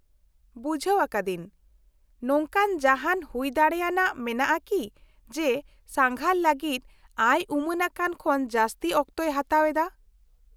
-ᱵᱩᱡᱷᱟᱹᱣ ᱟᱠᱟᱫᱟᱹᱧ, ᱱᱚᱝᱠᱟᱱ ᱡᱟᱦᱟᱱ ᱦᱩᱭ ᱫᱟᱲᱮᱭᱟᱱᱟᱜ ᱢᱮᱱᱟᱜᱼᱟ ᱠᱤ ᱡᱮ ᱥᱟᱸᱜᱷᱟᱨ ᱞᱟᱹᱜᱤᱫ ᱟᱭᱼᱩᱢᱟᱹᱱᱟᱠᱟᱱ ᱠᱷᱚᱱ ᱡᱟᱹᱥᱛᱤ ᱚᱠᱛᱚᱭ ᱦᱟᱛᱟᱣ ᱮᱫᱟ ?